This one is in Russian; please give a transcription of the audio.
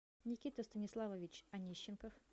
никита станиславович анищенков